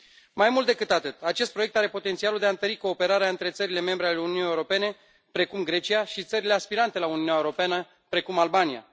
Mai mult decât atât, acest proiect are potențialul de a întări cooperarea între țările membre ale Uniunii Europene, precum Grecia, și țările aspirante la Uniunea Europeană, precum Albania.